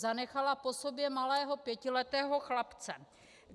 Zanechala po sobě malého pětiletého chlapce.